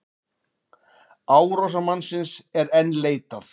Árásarmannsins er enn leitað